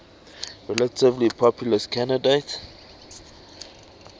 relatively populist candidate